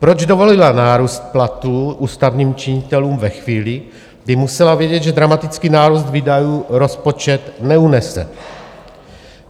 Proč dovolila nárůst platů ústavních činitelů ve chvíli, kdy musela vědět, že dramatický nárůst výdajů rozpočet neunese?